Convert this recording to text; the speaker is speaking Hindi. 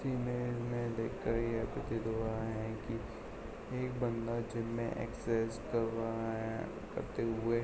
इमेज में देखकर ये प्रतीत हुआ है की एक बंदा जिम में एक्सरसाइज कर रहा है करते हुए --